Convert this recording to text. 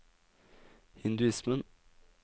hinduismen